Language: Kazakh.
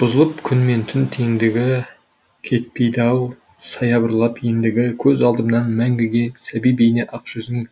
бұзылып күн мен түн теңдігі кетпейді ау саябырлап ендігі көз алдымнан мәңгіге сәби бейне ақ жүзің